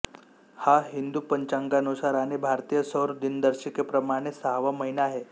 हा हिंदू पंचांगानुसार आणि भारतीय सौर दिनदर्शिकेप्रमाणे सहावा महिना आहे